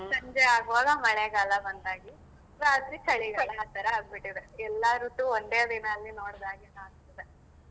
ಸಂಜೆ ಆಗುವಾಗ ಮಳೆಗಾಲ ಬಂದ ಹಾಗೆ ರಾತ್ರಿ ಚಳಿಗಾಲ ಆ ತರಾ ಆಗ್ಬಿಟ್ಟಿದೆ ಎಲ್ಲಾ ಋತುನು ಒಂದೇ ದಿನದಲ್ಲಿ ನೋಡಿದ ಹಾಗೆ ಕಾಣ್ತಿದೆ.